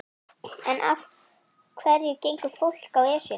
En af hverju gengur fólk á Esjuna?